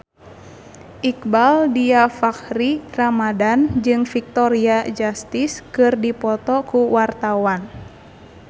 Iqbaal Dhiafakhri Ramadhan jeung Victoria Justice keur dipoto ku wartawan